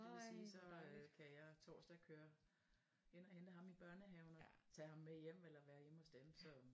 Så det vil sige så øh kan jeg torsdag køre ind og hente ham i børnehaven og tage ham med hjem eller være hjemme hos dem så øh